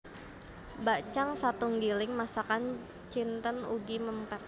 Bakcang satunggiling masakan Cinten ugi mèmper